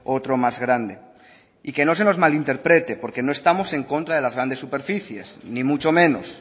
otro más grande y que no se nos malinterprete porque no estamos en contra de las grandes superficies ni mucho menos